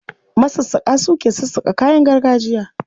Masassaƙa su ke sassaƙa kayan gargajiya.